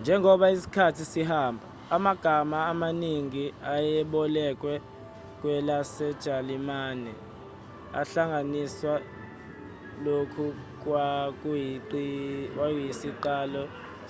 njengoba isikhathi sihamba amagama amaningi ayebolekwe kwelasejalimane ahlanganiswa lokhu kwakuyisiqalo